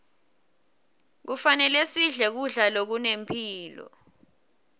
kufanele sidle kudla lokunemphilo